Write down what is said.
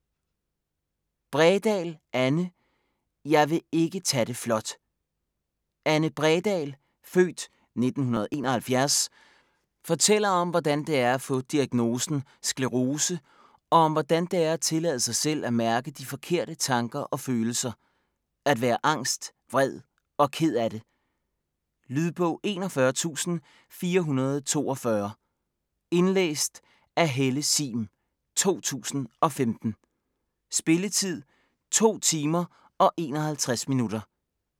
Bredahl, Anne: Jeg vil ikke tage det flot Anne Bredahl (f. 1971) fortæller om hvordan det er at få diagnosen sklerose, og om hvordan det er at tillade sig selv at mærke de forkerte tanker og følelser; at være angst, vred og ked af det. Lydbog 41442 Indlæst af Helle Sihm, 2015. Spilletid: 2 timer, 51 minutter.